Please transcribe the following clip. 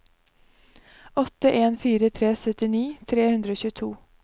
åtte en fire tre syttini tre hundre og tjueto